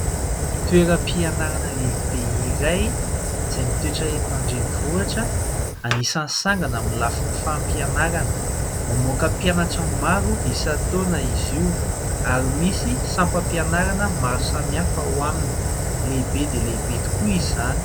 Toeram-pianarana lehibe iray izay mitoetra eto an-drenivohitra, anisan'ny sangany amin'ny lafin'ny fampianarana. Anisan'ny mamoaka mpianatra maro isan-taona izy io, ary misy sampam-pianarana maro samihafa ao aminy. Lehibe dia lehibe tokoa izany.